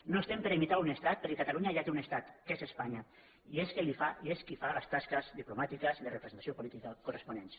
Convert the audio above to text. no estem per a imitar un estat perquè catalunya ja té un estat que és espanya i és qui fa les tasques diplomàtiques i de representació política corresponents